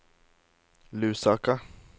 Lusaka